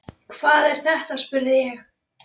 Hvað er þetta spurði ég.